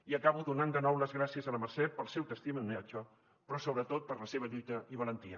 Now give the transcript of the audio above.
i acabo donant de nou les gràcies a la mercè pel seu testimoniatge però sobretot per la seva lluita i valentia